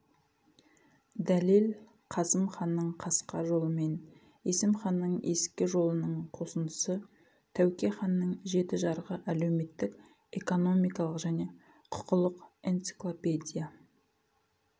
дәлел қасым ханның қасқа жолымен есім ханның ескі жолының қосындысы тәуке ханның жеті жарғы әлеуметтік экономикалық және құқылық энциклопедия